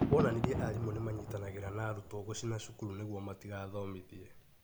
Wonanirie arimũ nĩ manyitanagĩra na arutwo gũcina cukuru nĩguo matigathomithie.